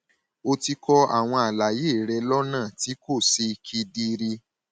o ti kọ àwọn àlàyé rẹ lọnà tí kò ṣe kedere